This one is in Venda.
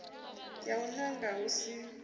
ya u nanga hu si